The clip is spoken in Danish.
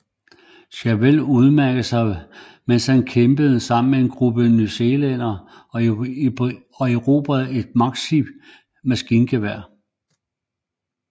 Chauvel udmærkede sig mens han kæmpede sammen med en gruppe newzealændere og erobrede et Maxim maskingevær